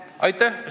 Aitäh!